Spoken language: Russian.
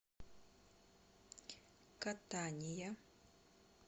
катания